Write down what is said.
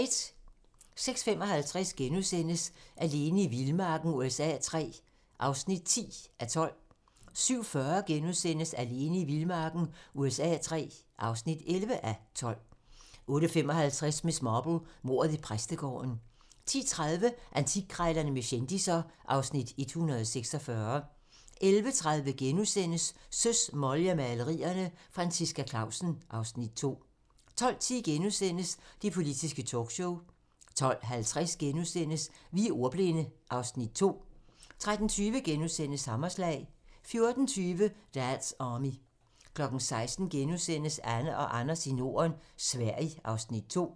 06:55: Alene i vildmarken USA III (10:12)* 07:40: Alene i vildmarken USA III (11:12)* 08:55: Miss Marple: Mordet i præstegården 10:30: Antikkrejlerne med kendisser (Afs. 146) 11:30: Søs, Molly og malerne - Franciska Clausen (Afs. 2)* 12:10: Det politiske talkshow * 12:50: Vi er ordbildne (Afs. 2)* 13:20: Hammerslag * 14:20: Dad's Army 16:00: Anne og Anders i Norden - Sverige (Afs. 2)*